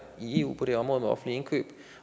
i eu på det område med offentlige indkøb